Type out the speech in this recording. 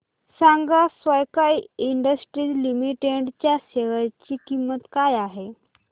सांगा Sky Industries limited च्या share ची किंमत काय आहे